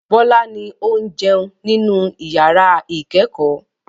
Bọ́lá ni ó ń jẹun nínú ìyàrá-ìkẹ́kọ̀ọ́.